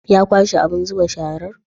Ya kwashe abun zuba sharar?